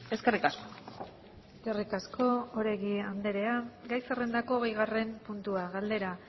eskerrik asko eskerrik asko oregi andrea gai zerrendako hogeigarren puntua galdera